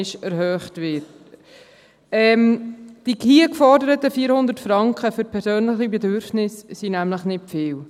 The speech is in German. Die hier geforderten 400 Franken für persönliche Bedürfnisse sind nämlich nicht viel.